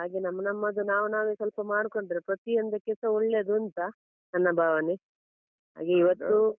ಹಾಗೆ ನಮ್ಮ ನಮ್ಮದು ನಾವ್ ನಾವೇ ಸ್ವಲ್ಪ ಮಾಡ್ಕೊಂಡ್ರೆ ಪ್ರತೀ ಒಂದಕ್ಕೆಸ ಒಳ್ಳೆದೂಂತ ನನ್ನ ಭಾವನೆ. ಇವತ್ತು